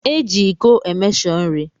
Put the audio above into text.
Eji ịko emeshọ nri